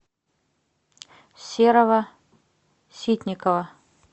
серого ситникова